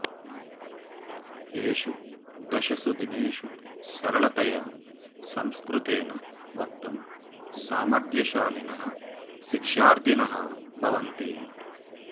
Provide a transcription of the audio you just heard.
येषु दशसु दिनेषु सरलतया संस्कृतेन वक्तुं सामर्थ्यशालिनः शिक्षार्थिनः भवन्ति